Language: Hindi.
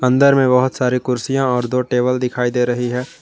अंदर में बहुत सारी कुर्सियां और दो टेबल दिखाई दे रही है।